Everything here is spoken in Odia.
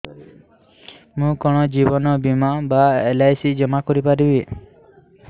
ମୁ କଣ ଜୀବନ ବୀମା ବା ଏଲ୍.ଆଇ.ସି ଜମା କରି ପାରିବି